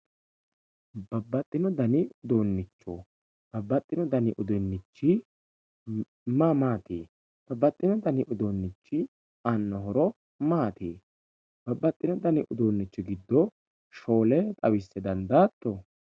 Babaxino dani uduiuncho babaxino dani uduunichi maa maati babaxino dnai uduunichi aano horo maa maati babaxino dani uduunichi giddo shoole xawise dandaato?